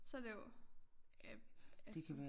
Så det jo äpfel